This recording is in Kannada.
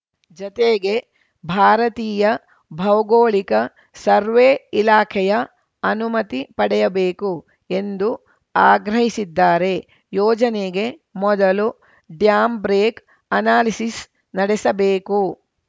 ಜತೆಗೆ ಭಾರತೀಯ ಭೌಗೋಳಿಕ ಸರ್ವೇ ಇಲಾಖೆಯ ಅನುಮತಿ ಪಡೆಯಬೇಕು ಎಂದು ಆಗ್ರಹಿಸಿದ್ದಾರೆ ಯೋಜನೆಗೆ ಮೊದಲು ಡ್ಯಾಮ್‌ ಬ್ರೇಕ್‌ ಅನಾಲಿಸಿಸ್‌ ನಡೆಸಬೇಕು